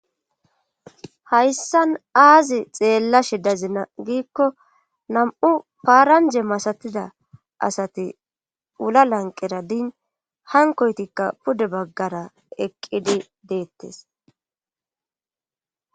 Hayssan aazi xeella shidazina giikko nam7u paaranje masatida asati ula lanqera din hankoytikka pude baggara eqqidi deettes.